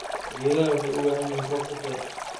Geedaha waxay u baahan yihiin roob ku filan.